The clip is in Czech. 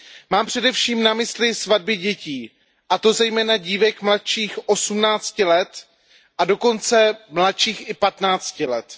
Mám především na mysli svatby dětí, a to zejména dívek mladších osmnácti let, a dokonce mladších i patnácti let.